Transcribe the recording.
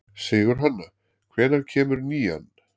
Sigurhanna, hvenær kemur nían?